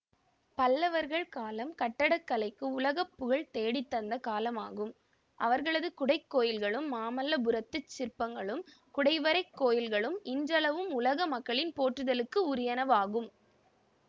பல்லவர்கள் காலம் கட்டடக்கலைக்கு உலக புகழ் தேடித்தந்த காலமாகும் அவர்களது குடை கோயில்களும் மாமல்லபுரத்துச் சிற்பங்களும் குடைவரைக் கோயில்களும் இன்றளவும் உலக மக்களின் போற்றுதலுக்கு உரியனவாகும்